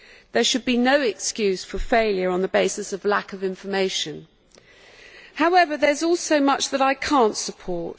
There should be no excuse for failure on the basis of lack of information. However, there is also much that I cannot support